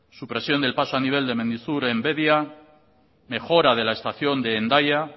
supresión del paso a nivel de mendizur en bedia mejora de la estación de hendaya